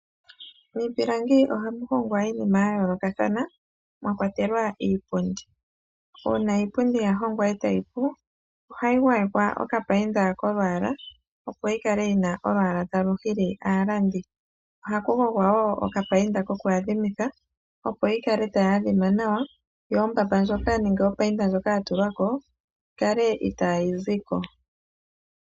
Miipilangi oha mu hongwa iinima yomaludhi ga yoolokathana mwakwatelwa iipundi. Uuna iipundi ya hongwa etayi pu ohayi gwayekwa okapainda kolwaala opo yikale yi na olwaala talu hili aalandi. Ohaku gogwa woo okapainda koku adhimitha opo yi kale tayi adhima nawa nopainda ndjoka yatulwako kaa yi zeko.